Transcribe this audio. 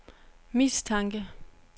mistanke